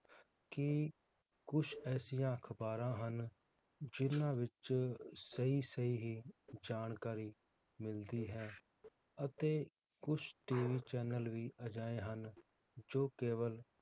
ਕਿ ਕੁਝ ਐਸੀਆਂ ਅਖਬਾਰਾਂ ਹਨ, ਜਿਹਨਾਂ ਵਿਚ ਸਹੀ-ਸਹੀ ਹੀ ਜਾਣਕਾਰੀ ਮਿਲਦੀ ਹੈ ਅਤੇ ਕੁਝ TV channel ਵੀ ਅਜਿਹੇ ਹਨ ਜੋ ਕੇਵਲ